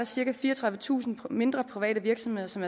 cirka fireogtredivetusind mindre private virksomheder som